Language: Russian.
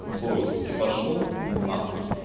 войс пошёл на хуй